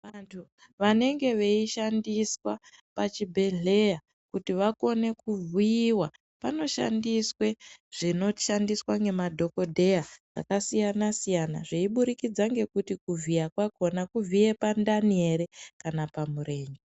Vantu vanenge veshandiswa pachibhehleya kuti vakone kuvhiyiwa panoshandiswe zvinoshandiswa ngemadhokodheya vakasiyana siyana zveiburikidza ngekuti kuvhiya kwakona kuvhiya pandani ere kana pamurenje